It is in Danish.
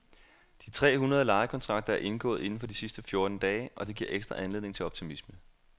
De tre hundrede lejekontrakter er indgået inden for de sidste fjorten dage, og det giver ekstra anledning til optimisme.